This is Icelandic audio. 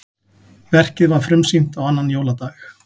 Verkið var frumsýnt á annan jóladag